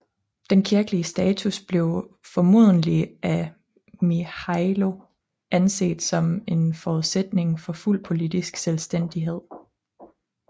Den kirkelige status blev formodentlig af Mihailo anset som en forudsætning for fuld politisk selvstændighed